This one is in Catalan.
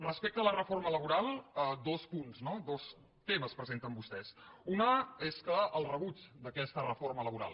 respecte a la reforma laboral dos punts no dos temes presenten vostès un és el rebuig d’aquesta reforma laboral